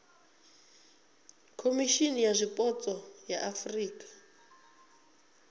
khomishimi ya zwipotso ya afurika